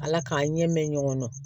Ala k'a ɲɛ me ɲɔgɔn na